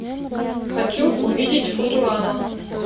хочу увидеть футурама